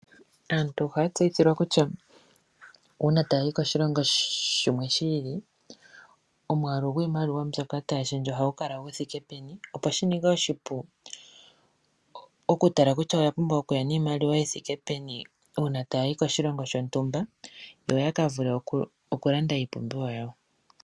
Aantu ohaya tseyithilwa kutya uuna taya yi koshilongo shimwe shi ili omwaalu gwiimaliwa mbyoka taya shendje ohagu kala gu thike peni, opo shi ninge oshipu okutala kutya oya pumbwa okuya niimaliwa yi thike peni uuna taya yi koshilongo shontumba yo ya ka vule okulanda iipumbiwa yawo.